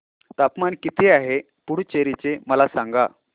तापमान किती आहे पुडुचेरी चे मला सांगा